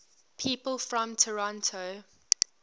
people from toronto